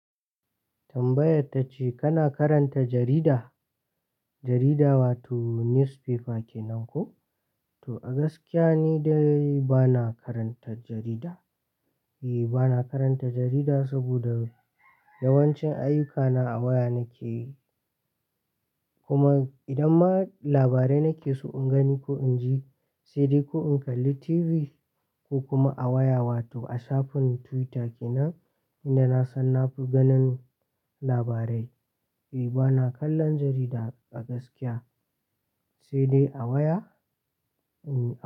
Tambayarta ce kana karanta jarida, jarida wato newspaper kenan ko? To a gaskiya ni dai bana karanta jarida. E bana karanta jarida saboda yawancin ayyukana a waya nake yi. Kuma idan ma labarai nake so in gani ko in ji, sai dai ko in kalli TV ko kuma a waya wato a shafin Twitter kenan, inda na san na fi ganin labarai. E bana kallon jarida a gaskiya, sai dai a waya.